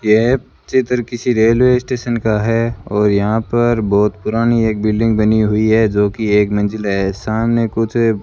यह चित्र किसी रेलवे स्टेशन का हैं और यहाँ पर बहोत पुरानी एक बिल्डिंग बनी हुई हैं जोकि एक मंजिल हैं सामने कुछ --